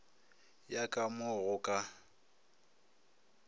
ya ka mo go ka